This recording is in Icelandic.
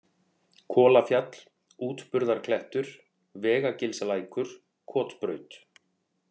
Kolafjall, Útburðarklettur, Vegagilslækur, Kotbraut